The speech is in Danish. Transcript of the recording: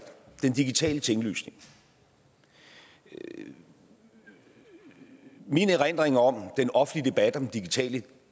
den digitale tinglysning min min erindring om den offentlige debat om den digitale